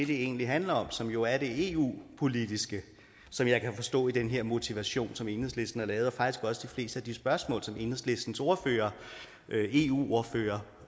det egentlig handler om som jo er det eu politiske som jeg kan forstå ud fra den her motivation som enhedslisten har lavet og faktisk også fleste af de spørgsmål som enhedslistens ordfører eu ordfører